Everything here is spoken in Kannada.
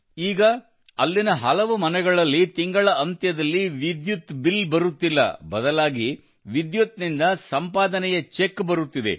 ಈಗ ಅಲ್ಲಿನ ಹಲವು ಮನೆಗಳಲ್ಲಿ ತಿಂಗಳಾಂತ್ಯದಲ್ಲಿ ವಿದ್ಯುತ್ ಬಿಲ್ ಬರುತ್ತಿಲ್ಲ ಬದಲಾಗಿ ವಿದ್ಯುತ್ ನಿಂದ ಸಂಪಾದನೆಯ ಚೆಕ್ ಬರುತ್ತಿದೆ